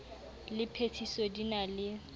le phethiso di na le